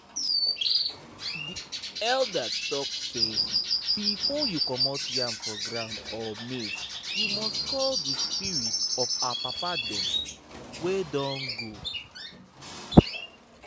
. elders talk say before you comot yam for ground or maize you must call the spirit of our papa dem wey don go.